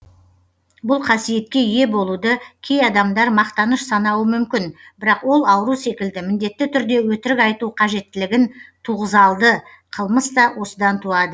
бұл қасиетке ие болуды кей адамдар мақтаныш санауы мүмкін бірақ ол ауру секілді міндетті түрде өтірік айту қажеттілігін туғызалды қылмыс та осыдан туады